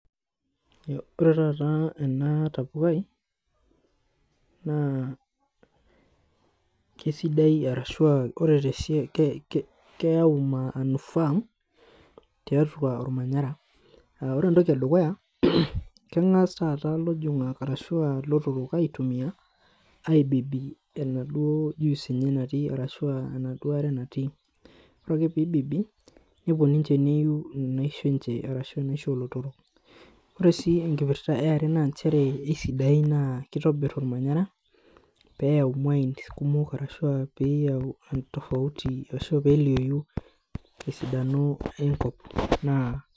Ore taata ena tapukai naa kesidai arashu ah ore te siai keyau manufaa tiatua ormanyara. Ore entoki edukuya kengas taata ilojongak ashu, ah ilotorok aitumia aibibi enaduo juice enye natii arashu ah enaduo aare natii. Ore ake pee ibibi nepuo ninche neiu inaishi enche ashu ah inaishi olotorok. Ore sii ekipirta eeare naa nchere esidain naa keitobir ormanyara peyau imuayiin kumok ashu aa pee eyau tofauti ashu peelioyu tofauti enkop naa.